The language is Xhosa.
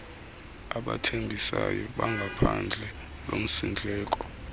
abathembisayo bangaphandle lomsindleko